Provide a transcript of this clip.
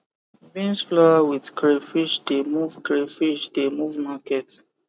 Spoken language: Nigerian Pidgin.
beans flour with crayfish de move crayfish de move market